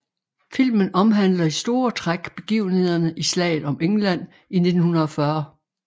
Filmen omhandler i store træk begivenhederne i Slaget om England i 1940